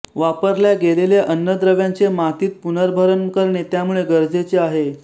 वापरल्या गेलेल्या अन्नद्रव्यांचे मातीत पुनर्भरण करणे त्यामुळे गरजेचे आहे